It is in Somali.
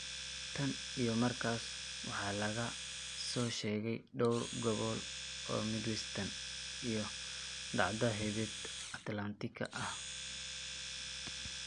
Tan iyo markaas, waxaa laga soo sheegay dhowr gobol oo Midwestern iyo dacda heebat atlantika ah.